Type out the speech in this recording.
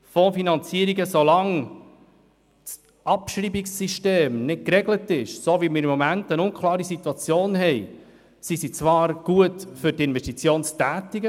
So lange das Abschreibungssystem nicht geregelt ist und, wie momentan, eine unklare Situation besteht, sind Fondsfinanzierungen zwar gut, um Investitionen zu tätigen.